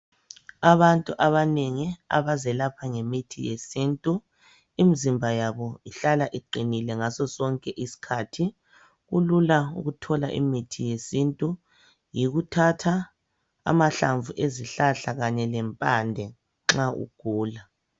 Abantu abanengi abazelapha ngemithi yesintu, imzimba yabo ihlala iqinile ngaso sonke isikhathi. Kulula ukuthola imithi yesintu, yikuthatha amahlamvu ezihlahla kanye lempande nxa ugula.